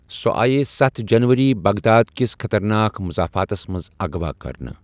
سو٘ آیہ ستھَ جنوری بغداد کِس خطرناک مضافاتس منٛز اغوا کٔرنہٕ ۔